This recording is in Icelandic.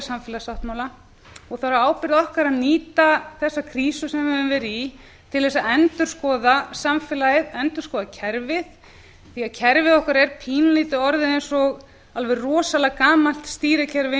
samfélagssáttmála og það er á ábyrgð okkar að nýta þessa krísu sem við höfum verið í til þess að endurskoða samfélagið endurskoða kerfið því að kerfið okkar er pínulítið orðið eins og alveg rosalega gamalt stýrikerfi